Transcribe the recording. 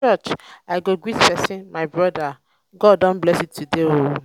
for church i go greet person "my brother god don bless today oo!"